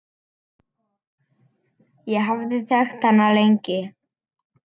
Ég hafði þekkt hana lengi.